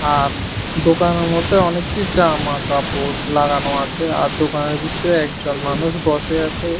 আর দোকানের মধ্যে অনেকটি জামাকাপড় লাগানো আছে আর দোকানের ভিতরে একজন মানুষ বসে আছে।